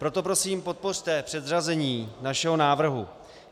Proto prosím podpořte předřazení našeho návrhu.